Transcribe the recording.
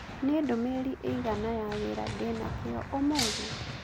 Nĩ ndũmĩrĩri ĩigana ya wĩra ndĩ nakĩo ũmũthĩ?